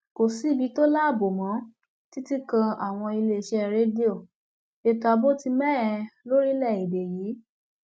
kò sí ibi tó láàbò mọ ọ títí kan àwọn iléeṣẹ rédíò ètò ààbò ti mẹhẹ lórílẹèdè yìí